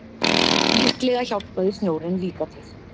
Líklega hjálpaði snjórinn líka til.